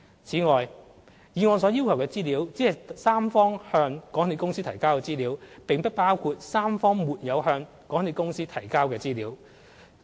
此外，議案所要求的資料，只是三方向港鐵公司提交的資料，並不包括三方沒有向港鐵公司提交的資料。